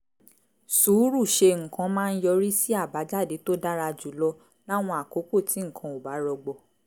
sùúrù ṣe nǹkan máa ń yọrí sí àbájáde tó dára jù lọ láwọn àkókò tí nǹkan ò bá rọgbọ